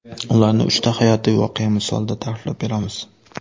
Ularni uchta hayotiy voqea misolida ta’riflab beramiz.